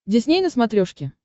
дисней на смотрешке